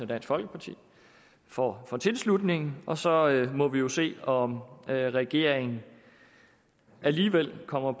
dansk folkeparti for for tilslutningen og så må vi jo se om regeringen alligevel kommer